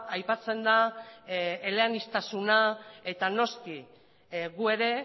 aipatzen da eleaniztasuna eta noski gu ere